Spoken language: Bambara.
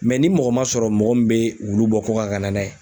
ni mɔgɔ ma sɔrɔ mɔgɔ min bɛ olu bɔ kɔkan ka na n'a ye.